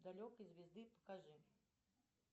далекой звезды покажи